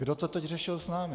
Kdo to teď řešil s námi?